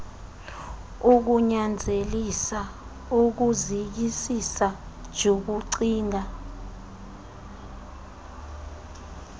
kunyanzelisa ukuzikisisa jukucinga